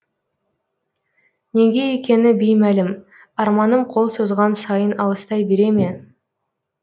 неге екені беймәлім арманым қол созған сайын алыстай бере ме